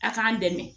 A k'an dɛmɛ